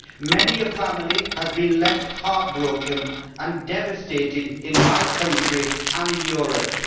Many a family has been left heartbroken and devastated in my country and in Europe.